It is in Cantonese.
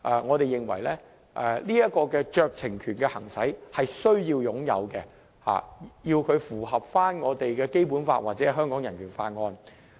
我們認為這酌情權是有需要的，亦要符合《基本法》或《香港人權法案條例》。